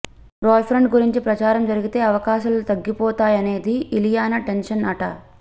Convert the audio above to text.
boyfriend గురించి ప్రచారం జరిగితే అవకాశాలు తగ్గిపోతాయనేది ఇలియానా టెన్షన్ అట